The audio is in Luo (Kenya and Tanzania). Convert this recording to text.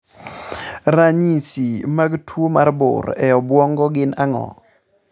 . Ranyisi mag tuo mar bur e obwongo gin ang'o?